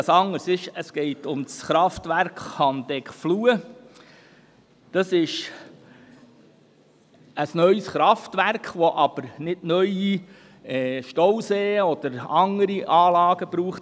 Einzig anders ist, dass es um das Kraftwerk Handeckfluh geht, ein neues Kraftwerk, wofür es keine neuen Stauseen oder anderen Anlagen braucht.